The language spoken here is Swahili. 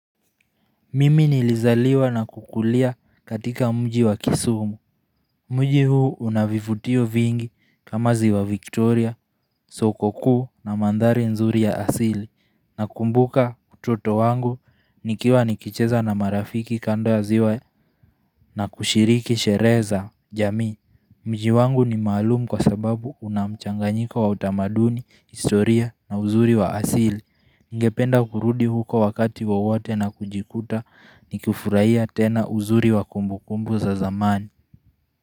Mimi nilizaliwa na kukulia katika mji wa kisumu Mji huu unavivutio vingi kama ziwa Victoria, soko kuu na mandhari nzuri ya asili na kumbuka utoto wangu nikiwa nikicheza na marafiki kando ya ziwa na kushiriki sherehe za jamii Mji wangu ni maalum kwa sababu unamchanganyiko wa utamaduni, historia na uzuri wa asili Ngependa kurudi huko wakati wowote na kujikuta nikufurahia tena uzuri wa kumbu kumbu za zamani.